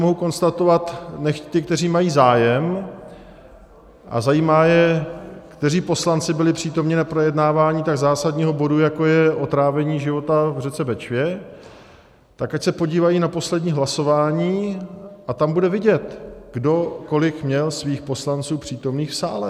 Mohu konstatovat, nechť ti, kteří mají zájem a zajímá je, kteří poslanci byli přítomni při projednávání tak zásadního bodu, jako je otrávení života v řece Bečvě, tak ať se podívají na poslední hlasování a tam bude vidět, kdo kolik měl svých poslanců přítomných v sále.